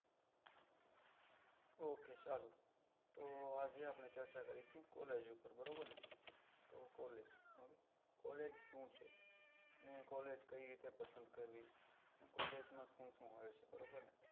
Okay ચાલો તો આજે આપડે ચર્ચા કરીશું collage ઉપર બરોબર ને તો collage collage શું છે ને collage કઈ રીતે પસંદ કરવી collage માં શું શું હોય છે બરોબર ને